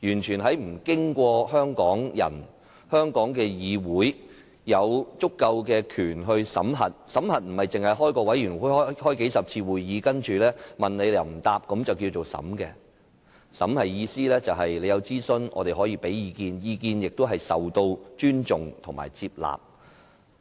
審核的意思，不僅限於成立法案委員會，舉行數十次會議，然後當局對於提問又不回應；而是政府進行諮詢時我們可以提出意見，並且得到尊重和接納。